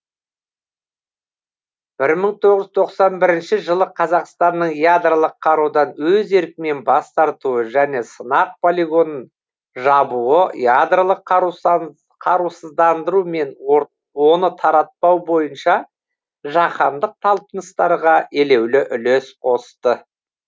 бір мың тоғыз жүз тоқсан бірінші жылы қазақстанның ядролық қарудан өз еркімен бас тартуы және сынақ полигонын жабуы ядролық қарусыздандыру мен оны тараптау бойынша жаһандық талпыныстарға елеулі үлес қосты